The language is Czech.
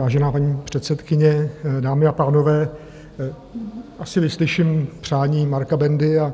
Vážená paní předsedkyně, dámy a pánové, asi vyslyším přání Marka Bendy a